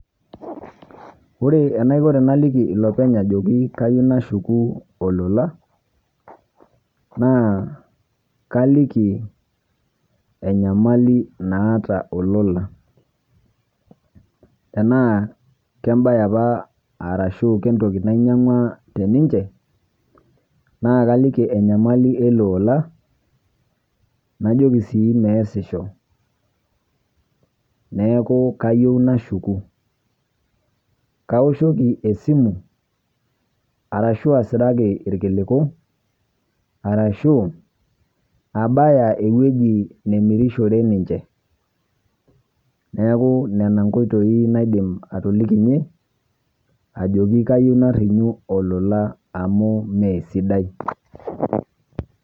Ore enaikoo tanaliiki lopeny' ajooki kaiyeu nashuuku elola naa kaliiki enyamali naata olola. Tena kebaye apaa arashu kentooki ninyeng'ua tene ninchee naa kaliiki enyamali elola najooki sii mee esishoo, neeku kaiyeu nashuuku. Kaoshooki esimu arashu asiraaki lkilikuu arashu abaaya ewueji namirishoore ninchee. Neeku nena nkoitoi nadiim atoliikinye ajooki kaiyeu nariyuu olola amu mee sidai.